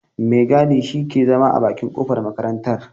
Mai gadi shi ke zama a bakin kofar makarartar.